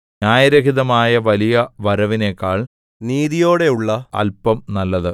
ന്യായരഹിതമായ വലിയ വരവിനെക്കാൾ നീതിയോടെയുള്ള അല്പം നല്ലത്